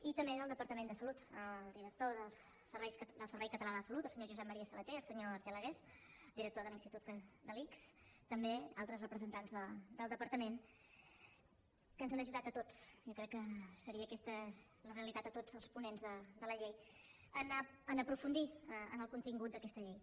i també del departament de salut el director del servei català de la salut el senyor josep maria sabaté el senyor argelagués director de l’ics també altres representants del departament que ens han ajudat a tots jo crec que seria aquesta la realitat de tots els ponents de la llei a aprofundir en el contingut d’aquesta llei